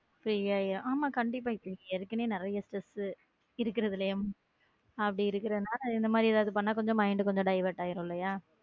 Free ஆகிரும் நாம கண்டிப்பா ஏற்கனவே நிறைய stress இருக்கிறதுல அப்படி இருக்கறதுனால அந்த மாதிரி ஏதாவது பண்ணா mind கொஞ்சம deviate ஆகிரும் இல்லையா.